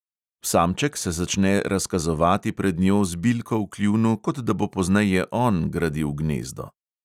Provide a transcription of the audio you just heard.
Samček se začne razkazovati pred njo z bilko v kljunu, kot da bo pozneje on gradil gnezdo.